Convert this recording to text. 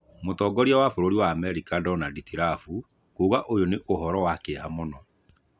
Mũtongoria wa bũrũri wa Amerika Donadi Tirabu kuuga ũyũ nĩ ũhoro wa kĩeha mũno.